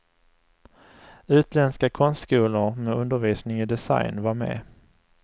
Utländska konstskolor med undervisning i design var med.